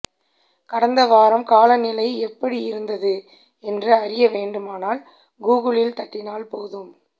கடந்த வாரம் காலநிலை எப்படியிருந்தது என்று அறிய வேண்டுமானால் கூகுளில் தட்டினால் போதும்